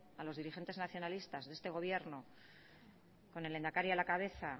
a los dirigentes nacionalistas de este gobierno con el lehendakari a la cabeza